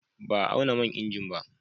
Ba a auna man injin ba.